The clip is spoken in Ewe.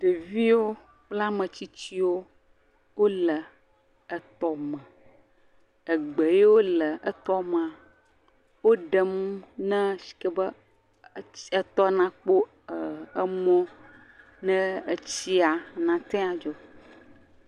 Ɖevio kple ametsitsiwo wole eyome, Egbe yio le etɔmea, woɖem na sike nɛ etɔ na kpɔ mɔ ne tsia nateŋu adzo.